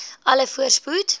u alle voorspoed